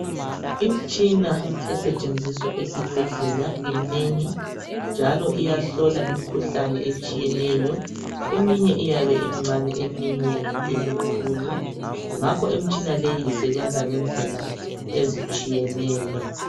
Imtshina esetshenziswa esibheldela imnengi, njalo iyahlola imkhuhlane etshiyeneyo. Eminye iyabe imncane, eminye imkhulu, ngakho imtshina leyi isebenza ngendlela ezitshiyeneyo.